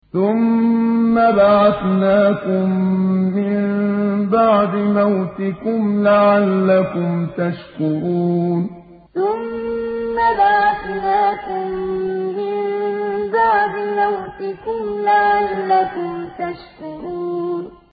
ثُمَّ بَعَثْنَاكُم مِّن بَعْدِ مَوْتِكُمْ لَعَلَّكُمْ تَشْكُرُونَ ثُمَّ بَعَثْنَاكُم مِّن بَعْدِ مَوْتِكُمْ لَعَلَّكُمْ تَشْكُرُونَ